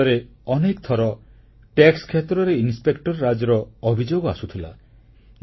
ପୂର୍ବରୁ ଦେଶରେ ଅନେକ ଥର ଟିକସ କ୍ଷେତ୍ରରେ ଇନସ୍ପେକ୍ଟରରାଜର ଅଭିଯୋଗ ଆସୁଥିଲା